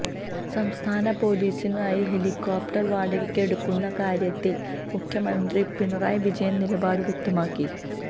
സംസ്ഥാന പൊലീസിനായി ഹെലികോപ്റ്റര് വാടകയ്ക്കെടുക്കുന്ന കാര്യത്തില് മുഖ്യമന്ത്രി പിണറായി വിജയന് നിലപാട് വ്യക്തമാക്കി